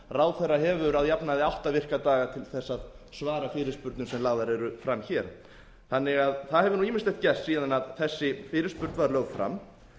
ráðherra hefur að jafnaði átta virka daga til þess að svara fyrirspurnum sem lagðar eru fram hér það hefur því ýmislegt gerst síðan þessi fyrirspurn var lögð fram